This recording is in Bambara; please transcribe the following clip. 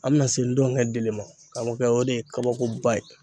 An bɛna se ntɔngɛ dili ma karamɔgɔkɛ o de ye kabakoba ye